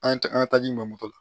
An ye taa an ka taaji nɔfɛ